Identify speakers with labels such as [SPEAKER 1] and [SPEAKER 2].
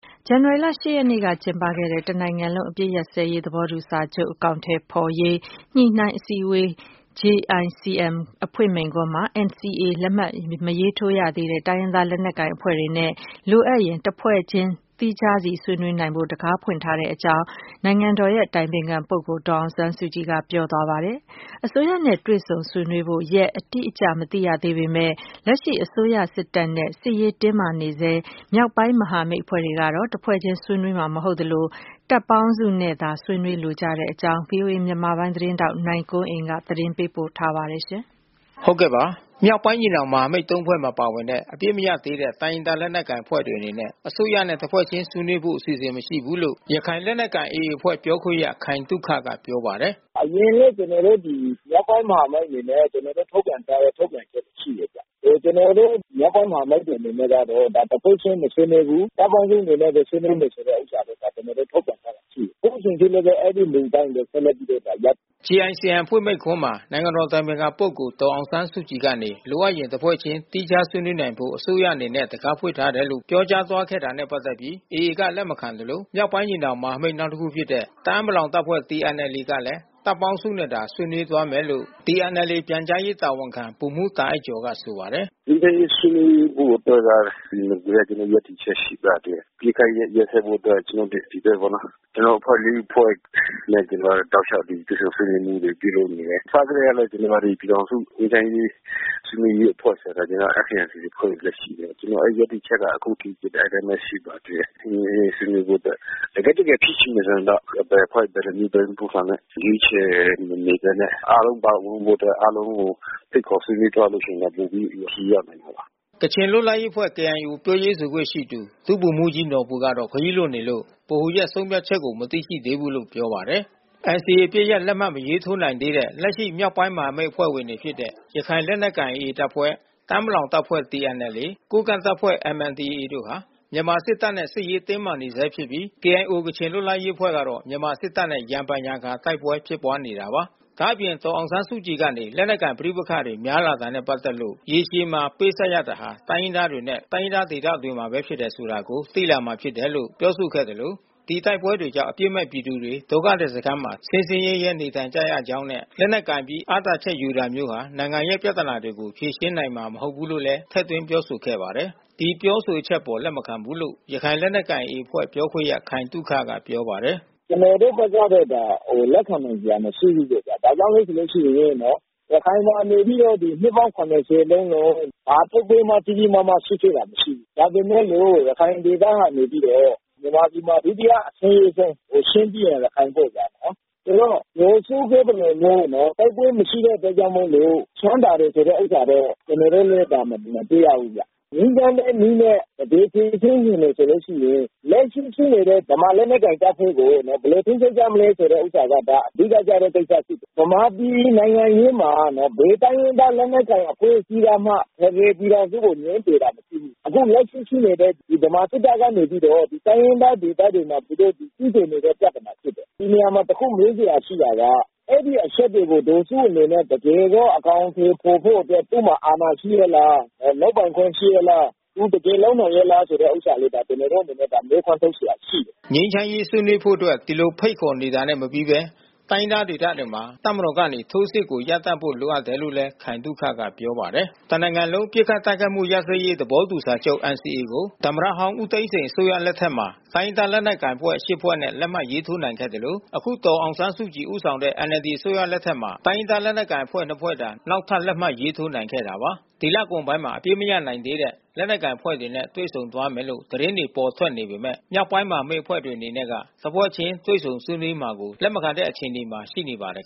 [SPEAKER 1] ဇန်နဝါရီ ရက်နေ့ကကျင်းပခဲ့တဲ့ တစ်နိုင်ငံလုံး ပစ်ခတ်တိုက်ခိုက်မှုရပ်စဲရေး သဘောတူစာချုပ် အကောင်အထည်ဖော်ရေး ညှိနှိုင်းအစည်းအဝေး အဖွင့်မိန့်ခွန်းမှာ NCAမရေးထိုးရသေးတဲ့တိုင်းရင်းသားလက်နက်ကိုင်အဖွဲ့တွေ လိုအပ်ရင်တဖွဲ့ချင်း သီးခြားဆွေးနွေးနိုင်ဖို့ အစိုးရကနေတံခါးဖွင့်ထားတယ်လို့ နိုင်ငံတော်အတိုင်ပင်ခံပုဂ္ဂိုလ် ဒေါ်အောင်ဆန်းစုကြည် ပြောဆိုခဲ့ပါတယ်။ အစိုးရနဲ့တွေ့ဆုံဆွေးနွေးဖို့ ရက်အတိအကျမသိရသေးပေမဲ့ လက်ရှိမြန်မာ စစ်တပ်နဲ့ စစ်ရေးတင်းမာနေဆဲ မြောက်ပိုင်းမဟာမိတ်အဖွဲ့တွေအနေနဲ့ကတော့ တဖွဲ့ချင်းဆွေးနွေးမှာမဟုတ်သလို မူလသဘောထားအတိုင်း တပ်ပေါင်းစုအနေနဲ့ပဲ ဆွေးနွေးမယ်လို့ သဘောထားရှိနေကြပါတယ်။ ဗွီအိုအေမြန်မာပိုင်းသတင်းထောက်နိုင်ကွန်းအိန်ကနေ သတင်းပေးပို့ထားပါတယ်။ မြောက်ပိုင်းညီန
[SPEAKER 2] ောင်မဟာမိတ် ဖွဲ့မှာပါဝင်တဲ့ အပစ်မရပ်သေးတဲ့ တိုင်းရင်းသား လက်နက်ကိုင် အဖွဲ့တွေအနေနဲ့ အစိုးရနဲ့တစ်ဖွဲ့ချင်း ဆွေးနွေးဖို့အစီအစဉ် မရှိဘူးလို့ ရခိုင်လက်နက်ကိုင် AAပြောခွင့်ရခိုင်သုခကပြောပါတယ်
[SPEAKER 3] ။ “အရင်လဲကျွန်တော်တို့ ဒီမြောက်ပိုင်းမဟာမိတ်အနေနဲ့ ကျွန်တော်တို့ထုတ်ပြန်ထားတဲ့ ထုတ်ပြန်ချက်တွေရှိတယ်ဗျ။ ကျွန်တော်တို့မြောက်ပိုင်းမဟာမိတ်အနေနဲ့ကတော့ တဖွဲ့ချင်းမဆွေးနွေးဘူး။ တပ်ပေါင်းစုအနေနဲ့ဘဲဆွေးနွေးမယ်ဆိုတဲ့ ဥစ္စာကိုကျွန်တော်တို့ထုတ်ပြန်ထားတာရှိတယ်။ အခုချိန်ထိလဲအဲဒီမူအတိုင်းပဲ ဆက်လက်ပြီးတော့
[SPEAKER 2] ရပ်တည် သွားမယ်။” နိုင်ငံတော်အတိုင်ပင်ခံပုဂ္ဂိုလ် ဒေါ်အောင်ဆန်းစုကြည်ကနေ လိုအပ်ရင်တဖွဲ့ချင်း သီးခြားဆွေးနွေးနိုင်ဖို့ အစိုးရအနေနဲ့တံခါးဖွင့်ထားတယ်လို့ အဖွင့်မိန့်ခွန်းမှာ ပြောကြားသွားခဲ့တာနဲ့ ပတ်သက်ပြီး AA က လက်မခံသလို မြောက်ပိုင်းညီနောင်မဟာမိတ်အဖွဲ့ နောက်တခုဖြစ်တဲ့ တအာင်းပလောင်တပ်ဖွဲ့TNLAကလဲ တပ်ပေါင်းစုနဲ့ပဲ ဆွေးနွေးဖို့ သဘောထားရှိတယ်လို့ TNLAပြန်ကြားရေးတာဝန်ခံ ဗိုလ်မှူးတာအိုက်ကျော်ကဆိုပါတယ်။
[SPEAKER 4] “ငြိမ်းချမ်းရေးဆွေးနွေးဖို့အတွက်ကတော့ နဂိုလ်ကကျွန်တော်တို့ရပ်တည်ချက်ရှိပါတယ်။ အပစ်ခတ်ရပ်စဲဖို့အတွက် ကျွန်တော်တို့ဒီဖက်ပေါ့နော်၊ ကျွန်တော်တို့အဖွဲ့ ဖွဲ့ တောက်လျှောက်တွေ့ဆုံဆွေးနွေးမှုတွေ ပြုလုပ်နေတယ်။ အစကတည်းကလဲ ကျွန်တော်တို့ပြည်ေထောင်စုငြိမ်းချမ်းရေးဆွေးနွေးရေးအဖွဲ့ဆိုတဲ့ ကျွန်တော်တို့FPNCC အဖွဲ့တွေလဲရှိတယ်။ ဆိုတော့ အဲဒီရပ်တည်ချက်ဟာ အခုအထိ အဲဒီအတိုင်းပဲရှိပါသေးတယ်။ နိုင်ငံရေးဆွေးနွေးဖို့အတွက် တကယ့်တကယ်ဖြစ်ချင်ရင်တော့ ဘယ်အဖွဲ့ ဘယ်လိုမျိုး ဘယ်လိုမျိုးပုံစံနဲ့ရွေးချယ်မနေဘဲနဲ့ အားလုံးပါဝင်ဖို့ အတွက် အားလုံးကိုဖိတ်ခေါ်ဆွေးနွေးသွားလို့ရှိရင် ပိုပြီးခရီးရောက်မှာပါ
[SPEAKER 2] ။” ကချင်လွတ်လပ်ရေးအဖွဲ့KIO ပြောရေးဆိုခွင့်ရှိသူ ဒုဗိုလ်မှူးကြီးနော်ဘူကတော့ ခရီးလွန်နေလို့ ဗဟိုရဲ့ဆုံးဖြတ်ချက်ကို မသိရှိသေးဘူးလို့ပြောပါတယ်။ NCAအပစ်ရပ် လက်မှတ်မထိုးနိုင်သေးတဲ့ လက်ရှိမြောက်ပိုင်းမဟာမိတ်အဖွဲ့ဝင်တွေဖြစ်တဲ့ ရခိုင်လက်နက်ကိုင် AAတပ်ဖွဲ့ တအာင်းပလောင်တပ်ဖွဲ့TNLA ကိုးကန့်တပ်ဖွဲ့MNDAAတို့ဟာ မြန်မာစစ်တပ်နဲ့ စစ်ရေးတင်းမာနေဆဲဖြစ်ပြီး၊ KIO ကချင်လွတ်လပ်ရေးအဖွဲ့ကတော့ မြန်မာစစ်တပ်နဲ့ ရံဖန်ရံခါ တိုက်ပွဲတွေရှိခဲ့ပါတယ်။ ဒေါ်အောင်ဆန်းစုကြည်ကတော့ လက်နက်ကိုင်ပဋိပက္ခတွေ များလာတာနဲ့ ပတ်သက်လို့ ရေရှည်မှာ ပေးဆပ်လိုက်ရတာက တိုင်းရင်းသားတွေနဲ့ တိုင်းရင်းသားဒေသတွေမှာပဲ ဖြစ်တယ်ဆိုတာကို သိလာမှာဖြစ်တယ်လို့ ပြောဆိုခဲ့သလို ဒီတိုက်ပွဲတွေကြောင့် အပြစ်မဲ့ပြည်သူတွေ ဒုက္ခသည်စခန်းမှာ ဆင်းဆင်းရဲရဲနေထိုင်နေရကြောင်းနဲ့ လက်နက်ကိုင်ပြီး အားသာချက်ယူတာမျိုးဟာ နိုင်ငံရဲ့ ပြဿနာတွေကို ဖြေရှင်းနိုင်မည်မဟုတ်လို့လည်း ထည့်သွင်း ပြောဆိုခဲ့ပါတယ်။ ဒီပြောဆိုချက်အပေါ် လက်မခံဘူးလို့ ရခိုင်လက်နက်ကိုင် AA အဖွဲ့ ပြောခွင့်ရ ခိုင်သုခက ပြောပါတယ်။
[SPEAKER 3] “ကျွန်တော်တို့ဖက်ကတော့ လက်ခံနိုင်စရာမရှိဘူးဗျ။ ဘာကြောင့်လဲဆိုလို့ရှိရင် ရခိုင်မှာနေပြီးတော့ နှစ်ပေါင်း လုံးလုံး ဘာတိုက်ပွဲမှ ကြီးကြီးမားမားဖြစ်ခဲ့တာမရှိဘူး။ ဒါပေမဲ့လို့ ရခိုင်ဒေသက ဗမာပြည်မှာ ဒုတိယအဆင်းရဲဆုံး၊ ချင်း ပြီးရင် ရခိုင်ပေါ့ဗျာနော်။ ဆိုတော့ ဒေါ်စုပြောသလိုမျိုး တိုက်ပွဲမရှိတဲ့အတွက်ကြောင့်မို့ ချမ်းသာတယ်ဆိုတဲ့ ဥစ္စာတော့ ကျွန်တော်တို့လဲ ဒါမတွေ့ရဘူးဗျ။ ငြိမ်းချမ်းတဲ့နည်းနဲ တကယ်ဖြေရှင်းချင်တယ်ဆိုလို့ရှိရင် လက်ရှိ ရှိနေတဲ့ ဗမာလက်နက်ကိုင်တပ်ဖွဲ့ကို ဘယ်လို ထိန်းသိမ်းကြမလဲဆိုတဲ့ ဥစ္စာက အတော်လေး အဓိကကျတဲ့ ကိစ္စဖြစ်တယ်။ ဗမာပြည် နိုင်ငံရေးမှာနော် ဘယ်တိုင်းရင်းသား လက်နက်ကိုင်အဖွဲ့အစည်းကမှ ဖက်ဒရယ်ပြည်ထောင်စုကိုငြင်းဆိုတာမရှိဘူး။ အခုလက်ရှိရှိနေတဲ့ ဗမာစစ်တပ်ကနေပြီးတော့ တိုင်းရင်းသားဒေသတွေမှာ သူတို့ကျူးကျော်နေတဲ့ပြဿနာဖြစ်တယ်။ ဒီနေရာမှာတခုမေးစရာရှိတာက အဲဒီအချက်တွေကိုဒေါ်စုအနေနဲ့ တကယ်ဘဲ အကောင်အထည်ဖေါ်ဖို့အတွက် သူ့မှာ အာဏာရှိရဲ့လား။ လုပ်ပိုင်ခွင့်ရှိရဲ့လား။ တကယ်လုပ်နိုင်ရဲ့ လားဆိုတဲ့ဥစ္စာလေး ကျွန်တော်တို့အနေနဲ့ဒါ မေးခွန်းထ
[SPEAKER 2] ုတ်စရာ ရှိတယ်။” ငြိမ်းချမ်းရေးဆွေးနွေးဖို့အတွက် ဒီလိုဖိတ်ခေါ်နေတာနဲ့မပြီးဘဲ တိုင်းရင်းသားဒေသတွေမှာ တပ်မတော်ကနေ ထိုးစစ်ကို ရပ်တန့်ဖို့လိုအပ်တယ်လို့လည်း ခိုင်သုခက ပြောပါတယ်။ တနိုင်ငံလုံးပစ်ခတ်တိုက်ခိုက်မှုရပ်စဲရေးသဘောတူစာချုပ် ကို သမ္မတဟောင်း ဦးသိန်းစိန်အစိုးရ လက်ထက်မှာ တိုင်းရင်းသားလက်နက်ကိုင် အဖွဲ့ရှစ်ဖွဲ့နဲ့ လက်မှတ်ရေးနိုင်ခဲ့သလို ယခု ဒေါ်အောင်ဆန်းစုကြည် ဦးဆောင်တဲ့ NLD အစိုးရ လက်ထက်မှာ တိုင်းရင်းသားလက်နက်ကိုင်အဖွဲ့နှစ်ခုသာ နောက်ထပ် လက်မှတ်ရေးထိုးနိုင်ခဲ့တာပါ။ ဒီလကုန်ပိုင်းမှာ အပစ်မရပ်နိုင်သေးတဲ့ လက်နက်ကိုင်အဖွဲ့တွေနဲ့တွေ့ဆုံသွားမယ်လို့ သတင်းတွေ ပေါ်ထွက်နေပေမဲ့ မြောက်ပိုင်းမဟာမိတ်အဖွဲ့တွေအနေနဲ့က တဖွဲ့ချင်းတွေ့ဆုံဆွေးနွေးမှာကိုတော့ လက်မခံနိုင်တဲ့အခြေအနေမှာ ရှိနေပါတယ်